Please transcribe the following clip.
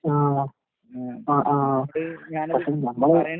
ആഹ് ആഹ് ആഹ്. പക്ഷെ ഞമ്മള്